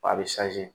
A bɛ